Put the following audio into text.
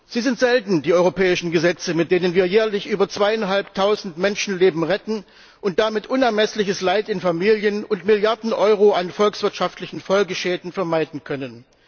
Sie sind selten, die europäischen Gesetze, mit denen wir jährlich über zweieinhalbtausend Menschenleben retten und damit unermessliches Leid in Familien und Milliarden Euro an volkswirtschaftlichen Folgeschäden vermeiden können.